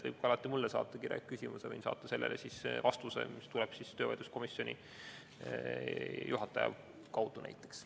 Võib ka alati mulle saata kirjaliku küsimuse, võin saata sellele vastuse, mis tuleb töövaidluskomisjonide juhatajate kaudu näiteks.